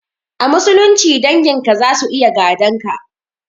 A musulunci dangin ka zasu iya gadon ka.